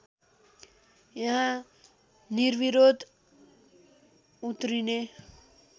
यहाँ निर्विरोध उत्रिने